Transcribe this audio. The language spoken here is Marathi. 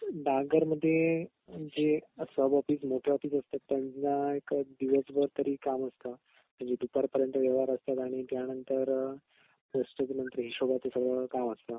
डाक घरमध्ये जे असतात त्यांना एका दिवसभर तरी काम असतात म्हणजे दुपारपर्यंत व्यवहार असतात आणि त्यानंतर पोस्टचपण हिसबाचं सगळं काम असत